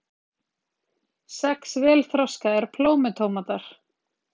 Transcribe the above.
Sex vel þroskaðir plómutómatar